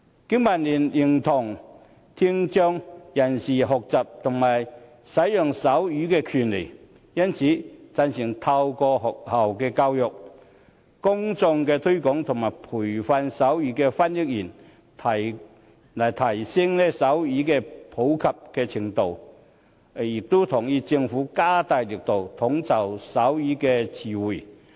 經民聯認同聽障人士學習和使用手語的權利，因此贊成透過學校教育、公眾推廣及培訓手語翻譯員，提升手語的普及程度，亦同意政府加大力度整理手語詞彙。